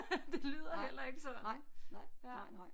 Det lyder heller ikke sådan ja